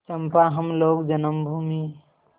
चंपा हम लोग जन्मभूमि